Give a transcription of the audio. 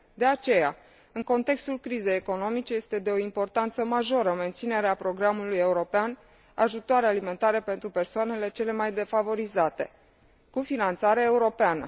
De aceea, în contextul crizei economice, este de o importanță majoră menținerea programului european Ajutoare alimentare pentru persoanele cele mai defavorizate, cu finanțare europeană.